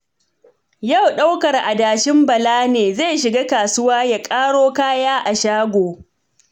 Yau ɗaukar adashin Bala ne, zai shiga kasuwa ya ƙaro kaya a shago